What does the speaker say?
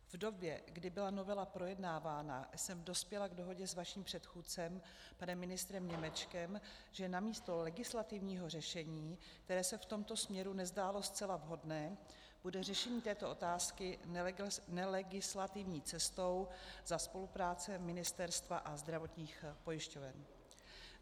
V době, kdy byla novela projednávána, jsem dospěla k dohodě s vaším předchůdcem, panem ministrem Němečkem, že namísto legislativního řešení, které se v tomto směru nezdálo zcela vhodné, bude řešení této otázky nelegislativní cestou za spolupráce ministerstva a zdravotních pojišťoven.